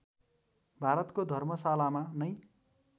भारतको धर्मशालामा नै